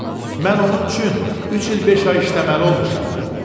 Mən onun üçün üç il beş ay işləməli olmuşam,